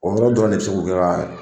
O yɔrɔ dɔrɔn de bɛ se k'u kɛ ka